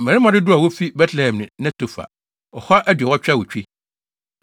Mmarima dodow a wofi 1 Betlehem ne Netofa 2 188 1